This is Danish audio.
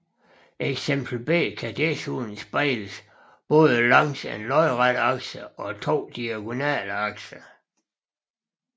Eksempel B kan desuden spejles både langs en lodret akse og to diagonale akser